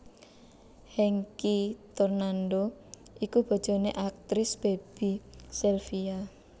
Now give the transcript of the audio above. Hengky Tornando iku bojoné aktris Baby Zelvia